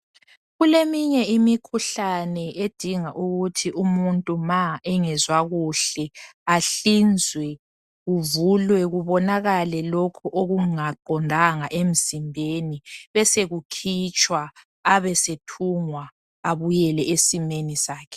Kuleminye imikhuhlane edinga ukuthi umuntu ma engezwa kuhle ahlinzwe kuvulwe kubonakale lokhu okungaqondanga emzimbeni besokukhitshwa abesethungwa abuyele esimeni sakhe.